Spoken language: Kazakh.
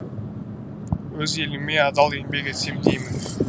өз еліме адал еңбек етсем деймін